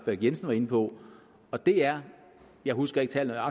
lahn jensen var inde på og det er jeg husker ikke tallet